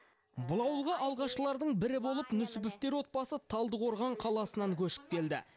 бұл ауылға алғашқылардың бірі болып нүсіповтер отбасы талдықорған қаласынан көшіп келді